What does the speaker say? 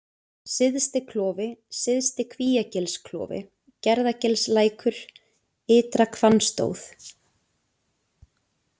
Syðsti-Klofi, Syðsti-Kvíagilsklofi, Gerðagilslækur, Ytra-Hvannstóð